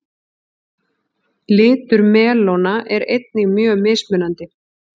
litur melóna er einnig mjög mismunandi